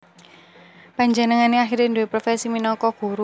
Panjenengané akhiré nduwé profesi minangka guru